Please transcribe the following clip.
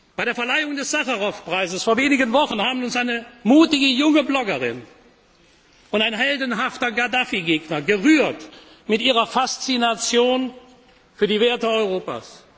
Situation. Bei der Verleihung des Sacharow Preises vor wenigen Wochen haben uns eine mutige junge Bloggerin und ein heldenhafter Gaddafi Gegner gerührt mit ihrer Faszination für die Werte